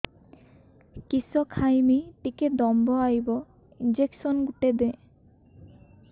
କିସ ଖାଇମି ଟିକେ ଦମ୍ଭ ଆଇବ ଇଞ୍ଜେକସନ ଗୁଟେ ଦେ